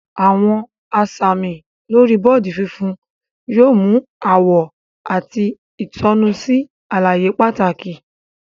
Awọn asami lori bọọdi fúnfún yóò mu awọ àti itonu sí àlàyé pàtàkì.